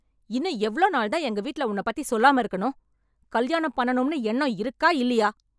இன்னும் எவ்ளோ நாள் தான் எங்க வீட்ல உன்ன பத்தி சொல்லாம இருக்கணும்? கல்யாணம் பண்ணனும்னு எண்ணம் இருக்கா இல்லையா?